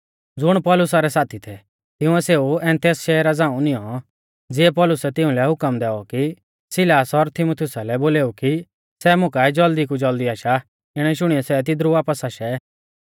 ज़ुण पौलुसा रै साथी थै तिंउऐ सेऊ एथेंस शहरा झ़ांऊ निऔं तिऐ पौलुसै तिउंलै हुकम दैऔ कि सिलास और तीमुथियुसा लै बोलेऊ कि सै मुकाऐ ज़ल्दी कु ज़ल्दी आशा इणै शुणियौ सै तिदरु वापस आशै